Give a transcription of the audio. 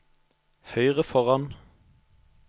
høyre foran